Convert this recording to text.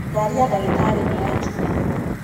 Ngari ya ndagĩtarĩ nĩyakinya